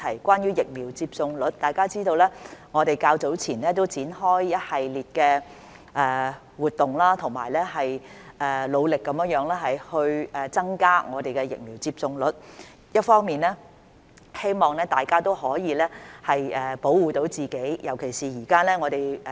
關於疫苗接種率，大家知道我們較早前展開了一系列的活動，努力地增加我們的疫苗接種率；一方面，這是希望大家都可以保護自己。